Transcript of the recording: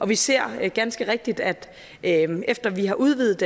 vi ser ganske rigtigt at at efter vi har udvidet